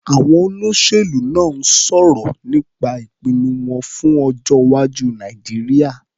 Àwọn olóṣèlú náà ń sọ̀rọ̀ nípa ìpinnu fún ọjọ́-iwájú Nàìjíríà.